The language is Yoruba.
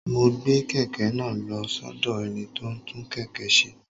Mo gbé kèké náà lo sódò ẹni tó ń tún kèké se